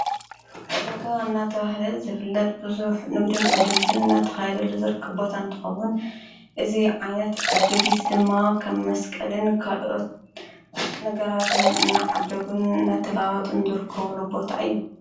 ኣደጋ እናተውህደት ዘፍለጥ ብዙኅ ንግድን ዕድጊትን ናተኻይለል ዘርክቦት ኣንተኸዉን እዙይ ዓይነት ዕድጊት ድማ ኸም መስቀልን ካልኦት ነገራትን እናዓደጉን ነተላዋጥን ዘርክቡሉ ቦታ እዩ።